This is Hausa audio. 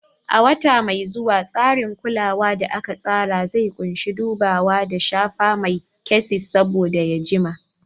A wata mai zuwa, tsarin kulawa da aka tsara zai ƙunshi dubawa da shafa mai na chassis saboda ya jima.